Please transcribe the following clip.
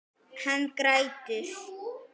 Hann grætur.